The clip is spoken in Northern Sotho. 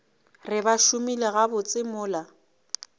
re ba šomile gabotse mola